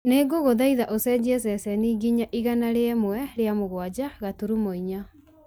nĩ ngũkũhoya ũcenjie ceceni nginya igana rĩmwe rĩa mũgwanja gaturumo inya